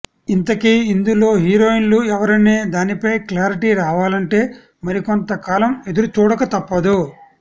ఇంతకీ ఇందులో హీరోయిన్లు ఎవరనే దానిపై క్లారిటీ రావాలంటే మరికొంత కాలం ఎదురుచూడక తప్పదు